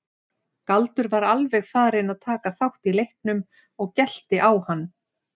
Galdur var alveg farinn að taka þátt í leiknum og gelti á hann.